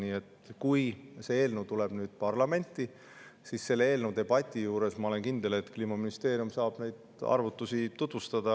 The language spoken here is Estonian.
Nii et kui see eelnõu tuleb parlamenti, siis selle eelnõu debatis, ma olen kindel, saab Kliimaministeerium neid arvutusi tutvustada.